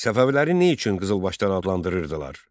Səfəvilərini nə üçün qızılbaşlar adlandırırdılar?